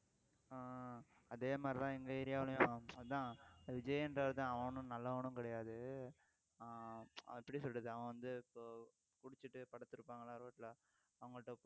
ஆஹ் அதே மாதிரிதான் எங்க area விலயும் அதான் விஜய்ன்றவர்தான் அவனும் நல்லவனும் கிடையாது ஆஹ் எப்படி சொல்றது அவன் வந்து இப்போ குடிச்சிட்டு படுத்து இருப்பாங்களாம் ரோட்ல அவங்கள்ட்ட